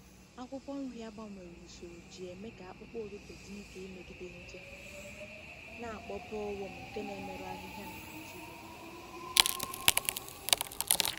Akwụkwọ nri a gbanwere usoro ji eme ka akpụkpọ ụtụtụ dị ike imegide nje na-akpọ bollworm nke na-emerụ ahịhịa na Nigeria.